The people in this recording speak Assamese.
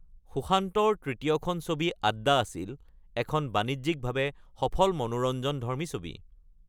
সুশান্তৰ তৃতীয়খন ছবি আড্ডা আছিল এখন বাণিজ্যিকভাৱে সফল মনোৰঞ্জনধৰ্মী ছবি।